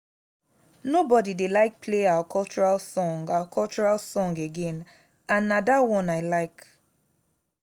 nobody dey like play our cultural song our cultural song again and na dat one i like